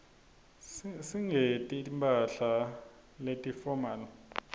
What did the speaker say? singeti mphahla leti fomali